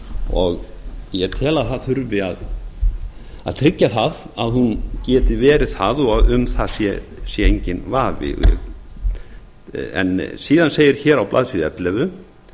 og ég tel að það þurfi að tryggja það að hún geti verið það og um það sé enginn vafi síðan segir hér á blaðsíðu ellefu